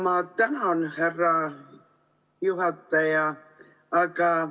Ma tänan, härra juhataja!